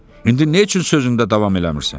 İndi nə üçün sözündə davam eləmirsən?